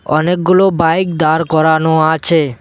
অনেকগুলো বাইক দাঁড় করানো আছে।